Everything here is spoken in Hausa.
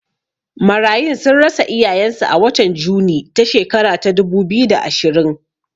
Marayun sun rasa iyayen su a watan Juni ta shekara ta dubu biyu da ashirin